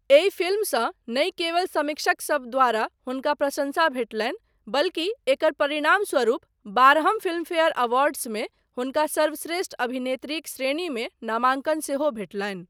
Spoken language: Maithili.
एही फिल्मसँ नहि केवल समीक्षकसब द्वारा हुनका प्रशंसा भेटलनि बल्कि एकर परिणामस्वरूप बारहम फिल्मफेयर अवार्ड्समे हुनका सर्वश्रेष्ठ अभिनेत्रीक श्रेणीमे नामांकन सेहो भेटलनि।